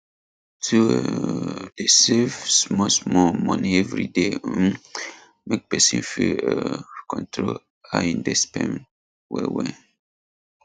to um dey save smallsmall money every day um make person fit um control how im dey spend wellwell